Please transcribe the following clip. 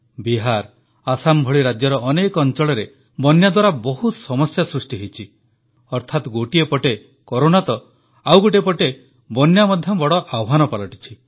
ବିହାର ଆସାମ ଭଳି ରାଜ୍ୟର ଅନେକ ଅଂଚଳରେ ବନ୍ୟା ଦ୍ୱାରା ବହୁତ ସମସ୍ୟା ସୃଷ୍ଟି ହୋଇଛି ଅର୍ଥାତ ଗୋଟିଏ ପଟେ କରୋନା ତ ଆଉ ଗୋଟିଏ ପଟେ ବନ୍ୟା ମଧ୍ୟ ବଡ଼ ଆହ୍ୱାନ ପାଲଟିଛି